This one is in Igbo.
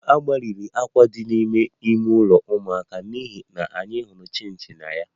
A gbanwere àkwà dị n'ime ime ụlọ ụmụaka n'ihi na anyị hụrụ chinchi na ya